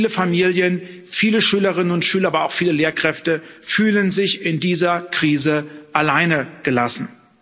Viele Familien, viele Schülerinnen und Schüler, aber auch viele Lehrkräfte fühlen sich in dieser Krise alleingelassen.